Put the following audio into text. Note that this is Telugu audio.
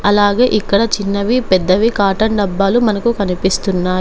అలాగే ఇక్కడ చిన్నవి పెద్దవి కాటన్ డబ్బాలు మనకు కనిపిస్తున్నాయ్.